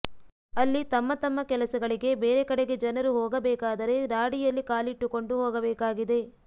ಅಲ್ಲಿ ತಮ್ಮ ತಮ್ಮ ಕೆಲಸಗಳಿಗೆ ಬೇರೆ ಕಡೆಗೆ ಜನರು ಹೊಗ ಬೇಕಾದರೆ ರಾಡಿಯಲ್ಲಿ ಕಾಲಿಟ್ಟುಕೊಂಡು ಹೋಗಬೇಕಾಗಿದೆ